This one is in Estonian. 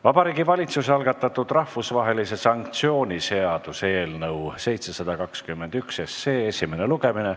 Vabariigi Valitsuse algatatud rahvusvahelise sanktsiooni seaduse eelnõu esimene lugemine.